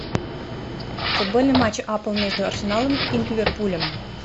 футбольный матч апл между арсеналом и ливерпулем